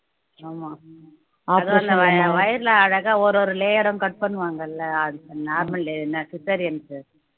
ஆமா அதுவும் அந்த வயி வயிறுல அழகா ஒரு ஒரு layer உம் cut பண்ணுவாங்கல்ல அது normal delivery cesarean க்கு